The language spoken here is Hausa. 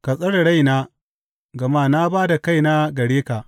Ka tsare raina, gama na ba da kaina gare ka.